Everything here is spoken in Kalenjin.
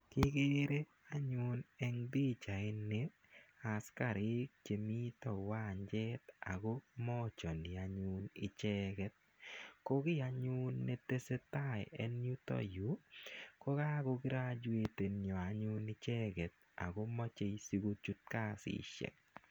Kikere anyun en pichaini askarik che mita uwanja ako machani anyun icheget. Ko kit anyun ne tese tai en yu ko kakograjuetensa icheget ako mache si kochut kasishek.